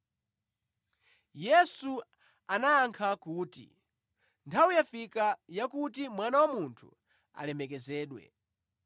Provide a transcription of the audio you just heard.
Yesu anayankha kuti, “Nthawi yafika yakuti Mwana wa Munthu alemekezedwe.